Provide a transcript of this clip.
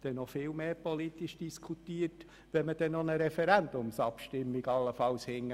Dann wird noch viel mehr politisch diskutiert, und man muss allenfalls noch eine Referendumsabstimmung nachschieben.